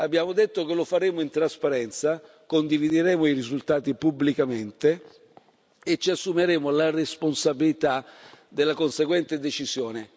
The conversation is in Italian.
Abbiamo detto che lo faremo in trasparenza, condivideremo i risultati pubblicamente e ci assumeremo la responsabilità della conseguente decisione.